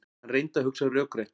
Hann reyndi að hugsa rökrétt.